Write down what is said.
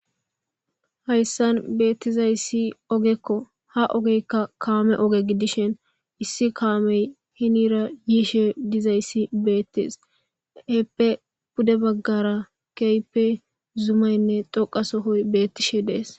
hayssan beettizayssi ogekko ha ogeykka kaame oge gidishen issi kaamey hinira yiishe dizayssi beettes heeppe pude baggara keype zumaynne dhoqa sohoy beettishe de'es